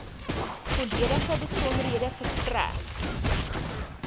volledige besonderhede verstrek